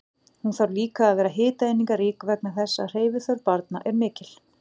Hún þarf líka að vera hitaeiningarík vegna þess að hreyfiþörf barna er mikil.